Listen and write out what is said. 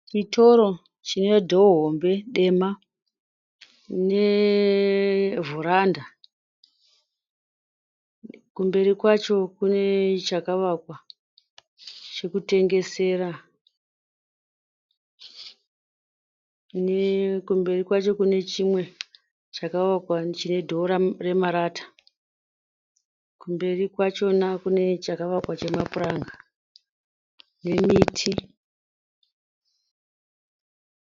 Chitoro chine dhoo hombe dema nevheranda. Kumberi kwacho kune chakavakwa chekutengesera. Kumberi kwacho kune chimwe chakavakwa chine dhoo remarata. Kumberi kwachona kune chakavakwa chemapuranga nemiti.